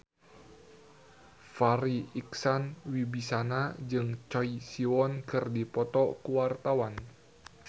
Farri Icksan Wibisana jeung Choi Siwon keur dipoto ku wartawan